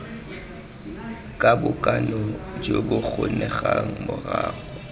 ka bonako jo bokgonegang morago